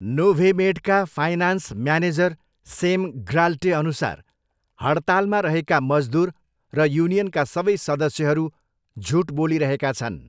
नोभेमेडका finance manager Sam ग्नाल्टेअनुसार हडतालमा रहेका मजदुर र युनियनका सबै सदस्यहरू झुट बोलिरहेका छन्।